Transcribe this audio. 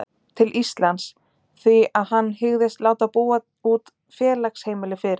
til Íslands, því að hann hygðist láta búa út félagsheimili fyrir